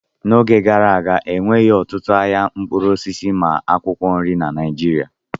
N'oge gara aga, enweghị ọtụtụ ahịa mkpụrụ osisi na akwụkwọ nri na Naịjirịa.